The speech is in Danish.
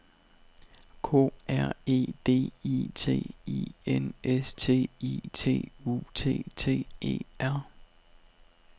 K R E D I T I N S T I T U T T E R